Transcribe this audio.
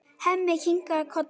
Hemmi kinkar kolli.